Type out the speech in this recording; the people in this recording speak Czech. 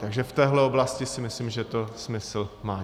Takže v téhle oblasti si myslím, že to smysl má.